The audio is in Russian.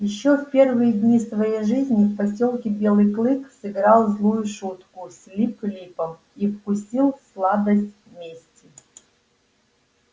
ещё в первые дни своей жизни в посёлке белый клык сыграл злую шутку с лип липом и вкусил сладость мести